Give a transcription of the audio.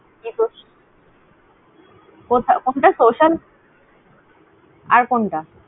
কথা কতোটা Social । আর কোনটা?